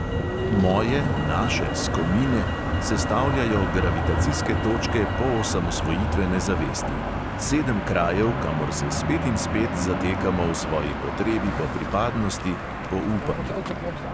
Moje – naše – "skomine" sestavljajo gravitacijske točke poosamosvojitvene zavesti; sedem krajev, kamor se spet in spet zatekamo v svoji potrebi po pripadnosti, po upanju.